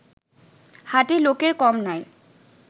হাটে লোকের কম নাই